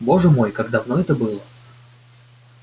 боже мой как давно это было